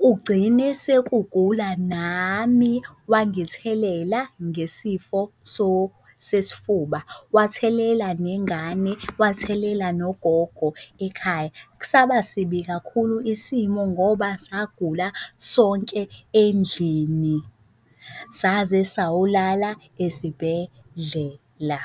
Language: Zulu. kugcine sekugula nami, wangithelela ngesifo sesifuba, wathelela nengane, wathelela nogogo ekhaya. Saba sibi kakhulu isimo ngoba sagula sonke endlini saze sayolala esibhedlela.